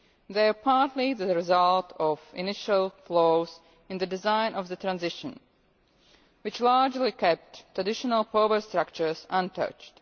They are partly the result of initial flaws in the design of the transition which largely kept traditional power structures untouched.